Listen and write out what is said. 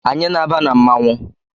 Anyị na-aba na mmanwụ